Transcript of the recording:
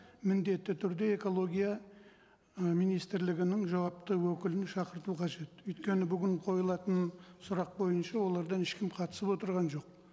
міндетті түрде экология і министрлігінің жауапты өкілін шақырту қажет өйткені бүгін қойылатын сұрақ бойынша олардан ешкім қатысып отырған жоқ